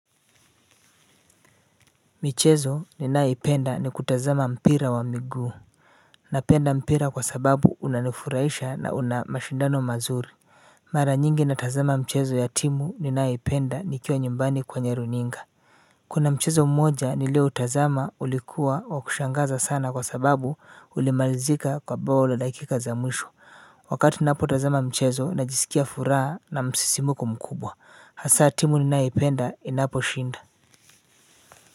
Michezo ninayoipenda ni kutazama mpira wa miguu. Ninapenda mpira kwa sababu unanifurahisha na una mashindano mazuri. Mara nyingi ninatazama mchezo ya timu ninayoipenda nikiwa nyumbani kwenye runinga. Kuna mchezo mmoja nilio utazama ulikuwa wa kushangaza sana kwa sababu ulimalizika kwa bao la dakika za mwisho wakati ninapo tazama mchezo najisikia furaha na msisimuko mkubwa hasa timu ninayoipenda inaposhinda